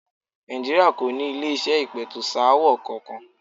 Nàìjíríà kò ní ilé-iṣẹ́ ìpẹ̀tùsááwọ̀ kankan.